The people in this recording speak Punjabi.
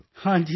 ਹਾਂ ਜੀ ਸਰ